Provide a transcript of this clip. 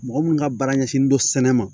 Mɔgɔ minnu ka baara ɲɛsinnen don sɛnɛ ma